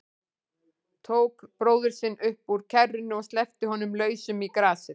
Tók bróður sinn upp úr kerrunni og sleppti honum lausum í grasið.